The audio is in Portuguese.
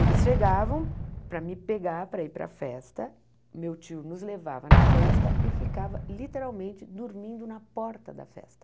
Eles chegavam para me pegar para ir para a festa, meu tio nos levava na festa e ficava literalmente dormindo na porta da festa.